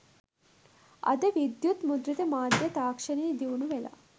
අද විද්‍යුත් මුද්‍රිත මාධ්‍ය තාක්ෂණය දියුණු වෙලා